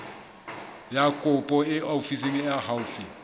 ya kopo ofising e haufi